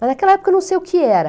Mas naquela época eu não sei o que era.